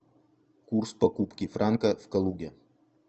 курс покупки франка в калуге